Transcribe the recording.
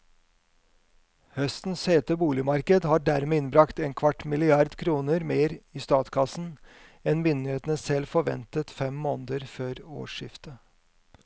Høstens hete boligmarked har dermed innbragt en kvart milliard kroner mer i statskassen enn myndighetene selv forventet fem måneder før årsskiftet.